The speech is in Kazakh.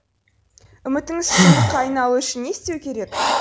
үмітіңіз шындыққа айналуы үшін не істеу керек